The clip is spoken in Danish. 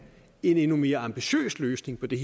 en endnu mere ambitiøs løsning for de